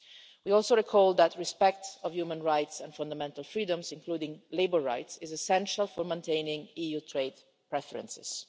We also recall that the respect of human rights and fundamental freedoms, including labour rights, is essential for maintaining EU trade preferences.